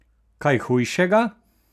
Kaj hujšega!